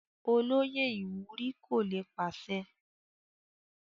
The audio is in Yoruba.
Olóyè ìwúrí kò lè pàṣẹ.